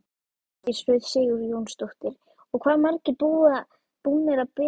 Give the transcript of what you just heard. Hjördís Rut Sigurjónsdóttir: Og hvað margir búnir að bera sig?